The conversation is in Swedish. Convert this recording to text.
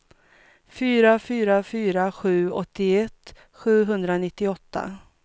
fyra fyra fyra sju åttioett sjuhundranittioåtta